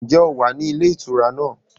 Ǹjẹ́ o wà ní ilé ìtura náà?